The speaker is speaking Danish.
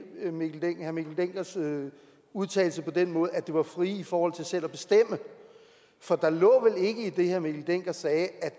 herre mikkel denckers udtalelse på den måde at det var frie i forhold til selv at bestemme for der lå vel ikke i det herre mikkel dencker sagde at